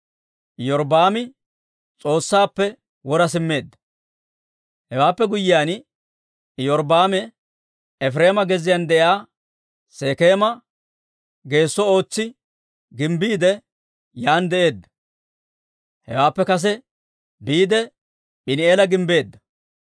Hewaappe guyyiyaan Iyorbbaami Efireema gezziyaan de'iyaa Sekeema geesso ootsi gimbbiide, yaan de'eedda; hewaappe kes biide P'iini"eela gimbbeedda.